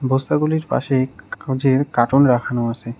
বস্তাগুলির পাশে কা যে কার্টন রাখানো আসে।